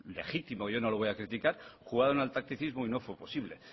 legítimo yo no lo voy a criticar jugaron al tacticismo y no fue posible